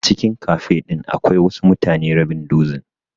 A cikin cafe din akwai wasu mutane rabin dozin.